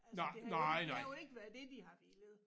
Altså det har jo ikke det har jo ikke været det de har villet